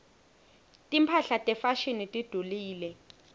timphahla tefashini tidulile